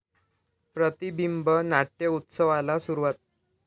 प्रतिबिंब नाट्य उत्सवाला सुरूवात